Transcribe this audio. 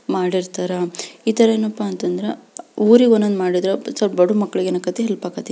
ಮಾಡಿರ್ತಾರ. ಈ ತರ ಏನಪ್ಪಾ ಅಂದ್ರ ಊರಿಗ ಒಂದೊಂದು ಮಾಡಿದ್ರ ಸ್ವಲ್ಪ ಬಡೂರ್ ಮಂದಿಗ್ ಏನಾಕೇತಿ ಹೆಲ್ಪ್ ಆಕ್ಕೆತಿ.